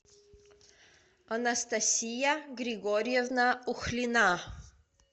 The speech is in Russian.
анастасия григорьевна ухлина